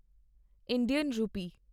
Indian ਰੂਪੀ